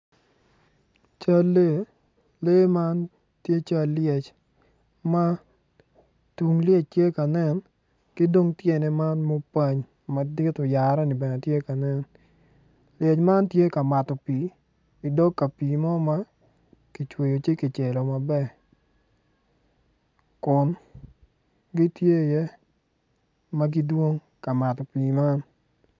Cal lee lee man tye cal lyec tung lyec tye ka nen ki dong tyene man ma opany madit oyereni bene tye ka nen lyec man tye ka mato pii idog ka pii ma kicweyo ci kicelo maber kun gitye iye ma gidwong ka mato pii man.